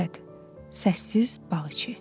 Xəlvət, səssiz bağ içi.